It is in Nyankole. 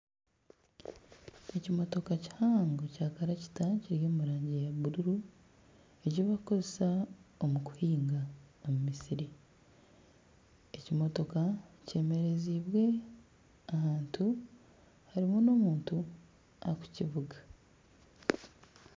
Ekimotooka kihango kya karakiita kiri omu rangi ya buruuru ebibakukoresa omu kuhinga omu misiri, ekimotooka kyemerezibwe ahantu harimu n'omuntu arikukivuga.